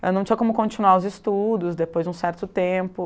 Ela não tinha como continuar os estudos depois de um certo tempo.